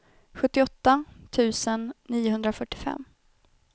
sjuttioåtta tusen niohundrafyrtiofem